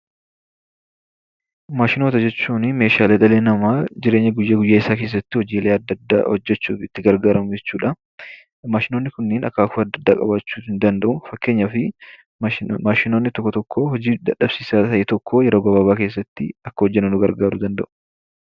Maashinoota jechuun meeshaalee dhalli namaa jireenya guyyaa guyyaa isaa keessatti hojiilee adda addaa hojjechuuf kan itti gargaaramu jechuudha. Maashinoonni kunniin akaakuu adda addaa qabaachuu ni danda'u. Fakkeenyaaf maashinoonni tokko tokko hojii dadhabsiisaa ta'e tokko yeroo gabaabaa keessatti akka hojjennuuf nu gargaaruu danda'u.